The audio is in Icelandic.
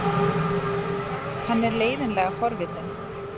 Hann er leiðinlega forvitinn.